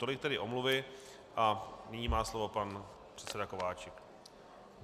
Tolik tedy omluvy a nyní má slovo pan předseda Kováčik.